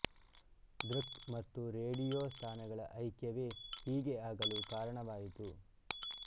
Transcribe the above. ದೃಕ್ ಮತ್ತು ರೇಡಿಯೋ ಸ್ಥಾನಗಳ ಐಕ್ಯವೇ ಹೀಗೆ ಆಗಲು ಕಾರಣವಾಯಿತು